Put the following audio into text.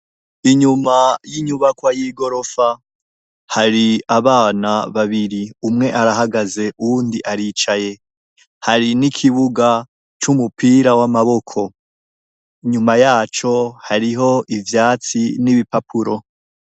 Inyuma y'inyubakwa y'igorofa hari abana babiri umwe arahagaze uwundi aricaye hari n'ikibuga c'umupira w'amaboko inyuma yaco hariho ivyatsi n'ibipapuro.